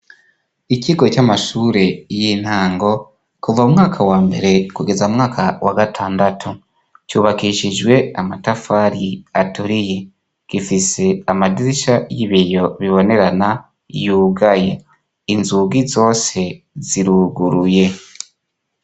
Ikigo c'amashure y'intango kuva mwaka wa mbere kugeza mwaka wa gatandatu cubakishijwe amatafari aturiye gifise amadisa y'ibiyo bibonerana yugaye inzugi zose ziruguruye.